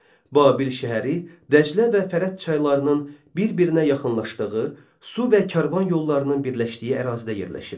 Babil şəhəri Dəclə və Fərat çaylarının bir-birinə yaxınlaşdığı, su və karvan yollarının birləşdiyi ərazidə yerləşirdi.